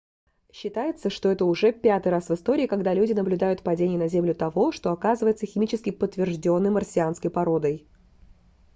считается что это уже пятый раз в истории когда люди наблюдают падение на землю того что оказывается химически подтверждённой марсианской породой